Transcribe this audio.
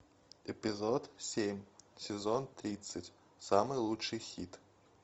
эпизод семь сезон тридцать самый лучший хит